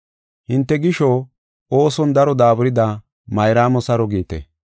Hinte gisho ooson daro daaburida Mayraamo saro giite.